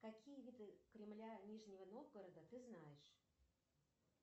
какие виды кремля нижнего новгорода ты знаешь